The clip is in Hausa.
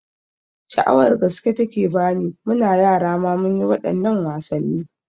Sha'awar gaske take bani, muna yara ma munyi waɗannan wasanni